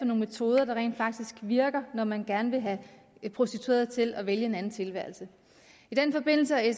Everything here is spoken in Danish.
nogle metoder der rent faktisk virker når man gerne vil have prostituerede til at vælge en anden tilværelse i den forbindelse har